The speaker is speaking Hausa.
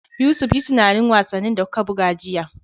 Yusuf, yi tunanin wasannin da kuka buga jiya